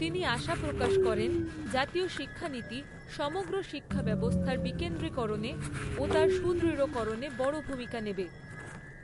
তিনি আশা প্রকাশ করেন, জাতীয় শিক্ষানীতি সমগ্র শিক্ষা ব্যবস্থার বিকেন্দ্রিকরণে ও তার সুদৃঢ়করণে বড় ভূমিকা নেবে।